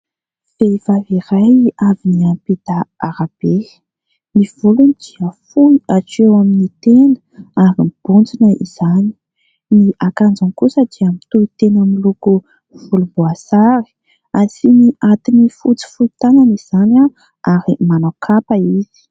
Vehivavy iray avy niampita arabe, ny volony dia fohy hatreo amin'ny tenda ary mibontsina izany, ny akanjony kosa dia mitohy tena amin'ny loko volomboasary, asiany atin'ny fotsy fohy tanana izany ary manao kapa izy.